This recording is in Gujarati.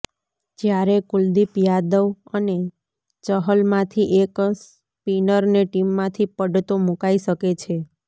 જ્યારે કુલદીપ યાદવ અને ચહલમાંથી એક સ્પીનરને ટીમમાંથી પડતો મૂકાઈ શકે છે